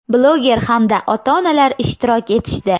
bloger hamda ota-onalar ishtirok etishdi.